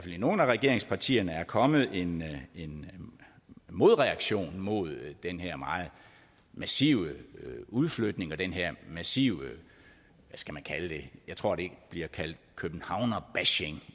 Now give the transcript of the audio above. i nogle af regeringspartierne er kommet en en modreaktion mod den her meget massive udflytning og den her massive hvad skal man kalde det jeg tror det bliver kaldt københavnerbashing